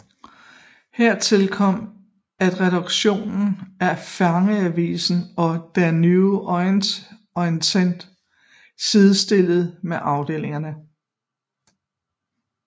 Hertil kom at redaktionerne af fangeavisen og Der Neue Orient sidestillet med afdelinger